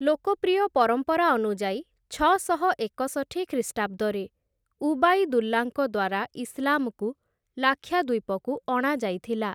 ଲୋକପ୍ରିୟ ପରମ୍ପରା ଅନୁଯାୟୀ, ଛଅଶହ ଏକଷଠି ଖ୍ରୀଷ୍ଟାବ୍ଦରେ ଉବାଇଦୁଲ୍ଲାଙ୍କ ଦ୍ୱାରା ଇସ୍‌ଲାମକୁ ଲାକ୍ଷାଦ୍ୱୀପକୁ ଅଣାଯାଇଥିଲା ।